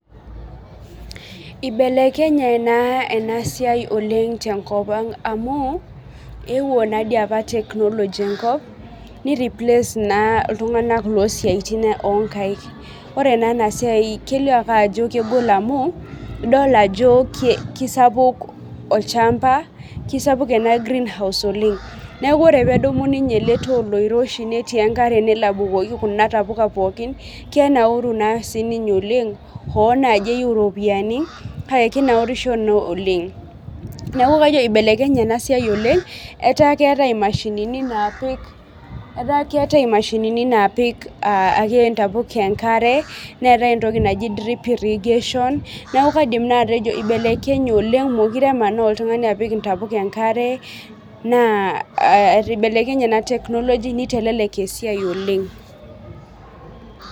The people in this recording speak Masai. Ibelekenye naa ena siai oleng' tenkop ang' amuu ewuo naa dii apa technology enkop ni replace naa iltung'ana loo siatin onkaik. Ore ena siai kelio apa ajo kegol amuu idol ajo kisapuk olchamba kisapuk enaa greenhouse oleng'. Neeku ore pedumu ninye ele too oiroshi neeti enkare nelo abukoki kuna tapuka pookin kenauru naa si ninye oleng' hoo naji eyou iropiani paa kinaurisho naa oleng'. Neeku kajo ibelekenye ena siai oleng' etaa ketae imashinini napik , ataa ketae imashinini napik ake intapuka enkare neetae entoki naji drip irrigation neeku kaidim naa atejo ibelekenye oleng' amuu mokire emanaa oltung'ani apik intapuka enkarea naa ibelekenye naa technology nitelelek esiai oleng.